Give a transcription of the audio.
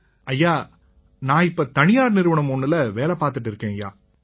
ஐயா நான் இப்ப தனியார் நிறுவனம் ஒண்ணுல வேலை பார்த்திட்டு இருக்கேன்யா